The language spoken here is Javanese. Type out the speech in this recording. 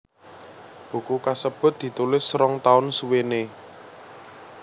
Buku kasebut ditulis rong taun suwené